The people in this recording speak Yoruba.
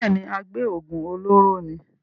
bẹ́ẹ̀ni, agbé òògùn olóró ni.